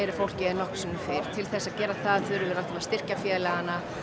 fólki en nokkru sinni fyrr til þess þurfum við að styrkja félagana